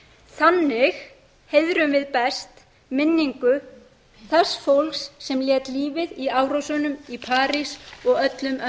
þannig heiðrum við best minningu þess fólks sem lét lífið í árásunum í parís og öllum öðrum